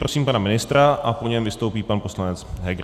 Prosím pana ministra a po něm vystoupí pan ministr Heger.